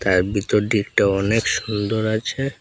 আর ভিতর দিকটা অনেক সুন্দর আছে।